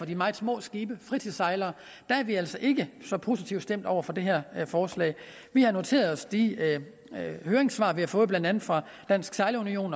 de meget små skibe fritidssejlere er vi altså ikke så positivt stemt over for det her forslag vi har noteret os de høringssvar vi har fået blandt andet fra dansk sejlerunion